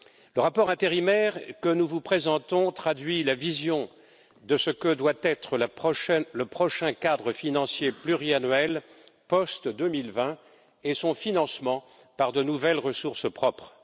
Le rapport intérimaire que nous vous présentons traduit la vision de ce que doivent être le prochain cadre financier pluriannuel post 2020 et son financement par de nouvelles ressources propres.